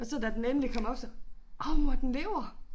Og så da den endelig kom op så åh mor den lever